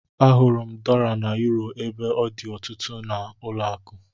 Ahụrụ m dọla na yuro ebe ọ dị ọtụtụ n'ụlọakụ